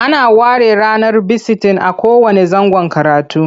Ana ware ranar bisitin a kowanne zangon karatu.